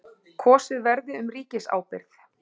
Kosið verði um ríkisábyrgð